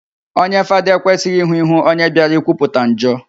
Onye Fada ekwesịghị ịhụ íhú onye bịara ikwupụta njọ